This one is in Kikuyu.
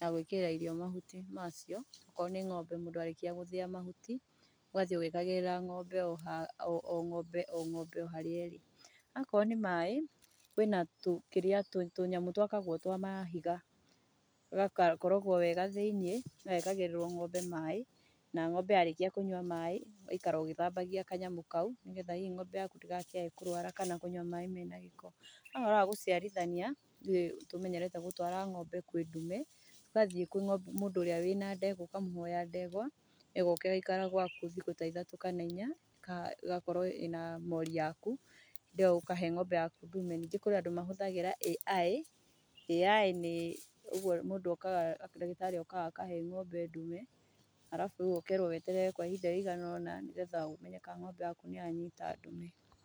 ya gũĩkĩrĩra irio mahuti macio. Okorwo nĩ ng'ombe mũndũ arĩkia gũthĩya mahuti ũgathiĩ ũgĩkĩragĩra ng'ombe o ng'ombe o ngómbe harĩa ĩrĩ. Akorwo nĩ maaĩ kwĩna tũnyamũ twakagwo twa mahiga, gagakorogwo wega thĩiniĩ gagekagĩrĩrwo ng'ombe maaĩ. Na ng'ombe ya rĩkia kũnyua maaĩ ũgaikara ũgĩthambagia kanyamũ kaũ nĩgetha hihi ng'ombe yaku ndĩgakĩae kũrũara kana kũnyua maaĩ mena gĩko. No ũhoro wa gũciarithania, ithuĩ nĩ tũmenyerete gũtwara ng'ombe kwĩ ndume, ugathiĩ kwĩ mũndũ ũrĩa wĩ na ndegwa ũkamũhoya ndegwa, ĩgoka ĩgaikara gwaku thikũ ta ithatũ kana inya kana ĩgakorwo ĩ na mori yaku hĩndĩ ĩ yo ũkahe mori yaku ndume. Ningĩ kũrĩ andũ mahũthagĩra AI, AI nĩ ũguo mũndũ okaga ndagĩtarĩ okaga akahe ng'ombe ndume arabu ũkerwo weterere kwa ihinda rĩigana o na nĩgetha ũmenye kana ng'ombe yaku nĩyanyita ndume.